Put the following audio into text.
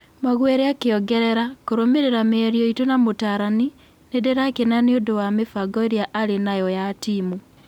Maguere akĩongerera: Kũrũmĩrĩra mĩario itũ na mũrutani, nĩ ndĩrakena nĩ ũndũ wa mĩbango ĩrĩa arĩ nayo ya timu.